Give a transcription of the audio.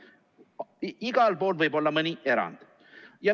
Igal pool võib olla mõni erand.